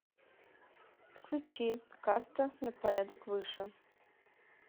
включи каста на порядок выше